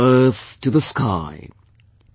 From the earth to the sky,